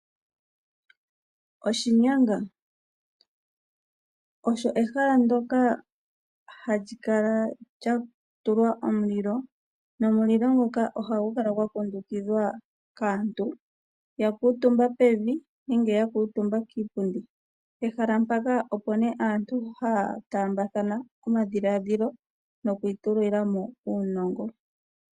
Oshinyanga Osho ehala ndoka hali kala lya tulwa omulilo, nomulilo nguka ohagu kala gwa kundukidhwa kaantu ya kuutumba pevi nenge ya kuutumba kiipundi. Pehala mpaka opo nee aantu haya tambathana omadhiladhilo noku itulila mo uunongo.